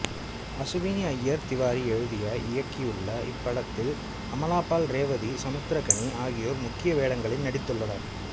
அசுவினி ஐயர் திவாரி எழுதி இயக்கியுள்ள இப்படத்தில் அமலா பால் ரேவதி சமுத்திரக்கனி ஆகியோர் முக்கிய வேடங்களில் நடித்துள்ளனர்